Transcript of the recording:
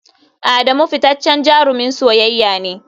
Adamu fitaccen jarumin soyayya ne.